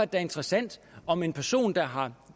da interessant om en person der har